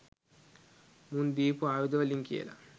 මුන් දීපු ආයුද වලින් කියල